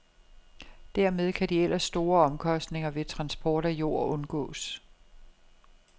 Dermed kan de ellers store omkostninger ved transport af jord undgås.